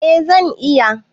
Eh zan iya.